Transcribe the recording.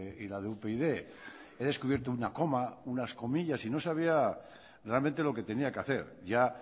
y la de upyd he descubierto una coma unas comillas y no sabía realmente lo que tenía que hacer ya